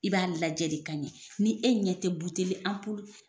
I b'a lajɛ de ka ɲɛ ni e ɲɛ tɛ buteli,